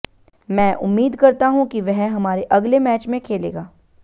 मैं उम्मीद करता हूं कि वह हमारे अगले मैच में खेलेगा